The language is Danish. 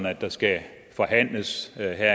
at der skal forhandles